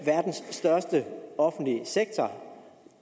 verdens største offentlige sektor